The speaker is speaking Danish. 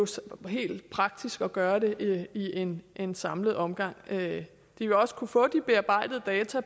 helt praktisk at gøre det i én én samlet omgang de vil også kunne få de bearbejdede data